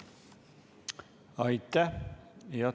Aitäh!